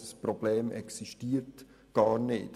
Das Problem existiert gar nicht.